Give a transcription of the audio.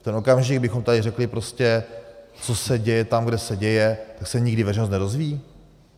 V ten okamžik bychom tady řekli prostě: co se děje tam, kde se děje, tak se nikdy veřejnost nedozví?